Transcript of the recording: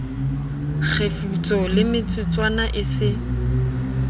kgefutso ye metsotswana e se